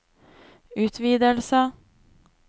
utvidelse